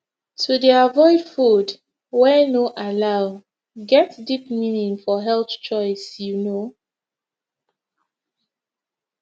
to dey avoid food wey no allow get deep meaning for health choice you know